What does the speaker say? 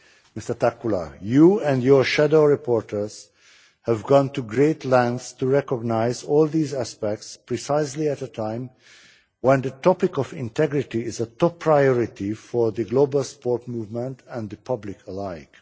Mr Takkula, you and your shadow rapporteurs have gone to great lengths to recognise all these aspects precisely at a time when the topic of integrity is a top priority for the global sports movement and the public alike.